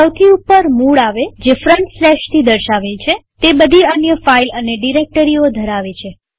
સૌથી ઉપર મૂળરૂટ આવે જે ફ્રન્ટસ્લેશ થી દર્શાવેલ છેતે બધી અન્ય ફાઈલ અને ડિરેક્ટરીઓ ધરાવે છે